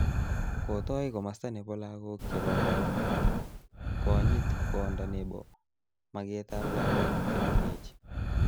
Kotoi komasta nebo lagok che kororon konyit konda nebo maketab lagok chemengech